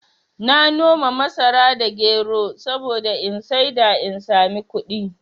Na noma masara da gero saboda in saida in sami kuɗi